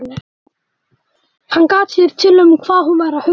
Hann gat sér til um hvað hún væri að hugsa.